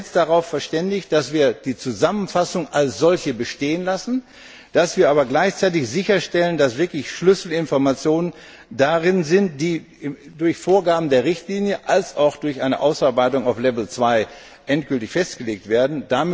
Wir haben uns jetzt darauf verständigt, dass wir die Zusammenfassung als solche bestehen lassen, dass wir aber gleichzeitig sicherstellen, dass wirklich Schlüsselinformationen darin enthalten sind, die durch Vorgaben der Richtlinie wie auch durch eine Ausarbeitung auf Level 2 endgültig festgelegt werden.